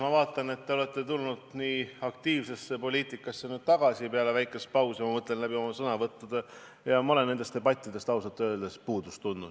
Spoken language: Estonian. Ma vaatan, et te olete pärast väikest pausi aktiivsesse poliitikasse tagasi tulnud läbi oma sõnavõttude, ja ma olen nendest debattidest ausalt öeldes puudust tundnud.